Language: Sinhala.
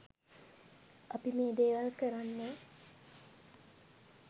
අපි මේ දේවල් කරන්නේ